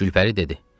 Gülpəri dedi: